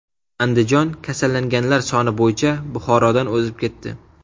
Andijon kasallanganlar soni bo‘yicha Buxorodan o‘zib ketdi.